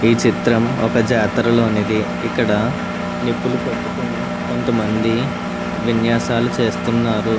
ఈ చిత్రం ఒక జాతర లోనిది ఇక్కడ నిప్పులు పట్టుకొని కొంతమంది విన్యాసాలు చేస్తున్నారు.